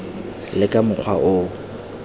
le ka mokgwa o o